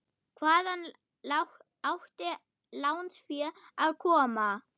Hvaðan átti lánsfé að koma?